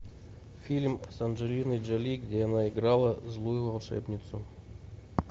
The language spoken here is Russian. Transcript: фильм с анджелиной джоли где она играла злую волшебницу